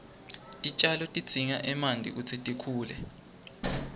titjalo tidzinga emanti kutsi tikhule